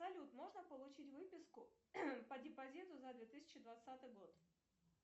салют можно получить выписку по депозиту за две тысячи двадцатый год